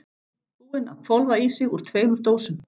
Búinn að hvolfa í sig úr tveimur dósum.